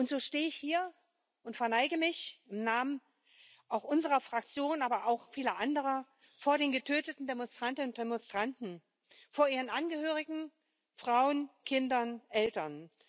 So stehe ich hier und verneige mich auch im Namen unserer Fraktion, aber auch vieler anderer vor den getöteten Demonstrantinnen und Demonstranten, vor ihren Angehörigen, Frauen, Kindern und Eltern.